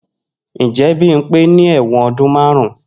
Njẹ Bimpe ni ẹwọn ọdun marun?